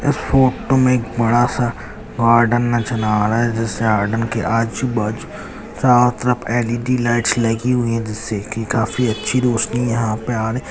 इस फोटो में एक बड़ा सा गार्डन नजर आ रहा हैं जिस गार्डन के आजू बाजू चारो तरफ एलईडी लाइटस लगी हुई है जिससे की काफी अच्छे रोशनी यहाँ पे आ रही हैं।